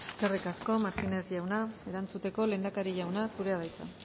eskerrik asko eskerrik asko martínez jauna erantzuteko lehendakari jauna zurea da hitza